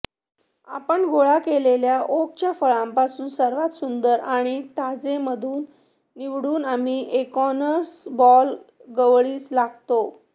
आपण गोळा केलेल्या ओकच्या फळापासून सर्वात सुंदर आणि ताजेमधून निवडून आम्ही एकोर्नसह बॉल गवळीस लागतो